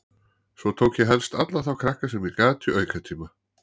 Svo tók ég helst alla þá krakka sem ég gat í aukatíma.